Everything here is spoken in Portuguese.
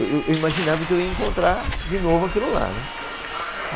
Eu, eu imaginava que eu ia encontrar de novo aquilo lá, né.